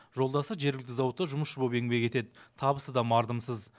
жолдасы жергілікті зауытта жұмысшы боп еңбек етеді табысы да мардымсыз